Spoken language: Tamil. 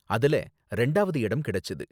அதில ரெண்டாவது இடம் கிடைச்சது.